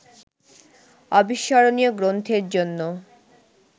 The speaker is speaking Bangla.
অবিস্মরণীয় গ্রন্থের জন্য